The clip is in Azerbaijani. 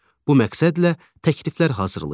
Bu məqsədlə təkliflər hazırlayın.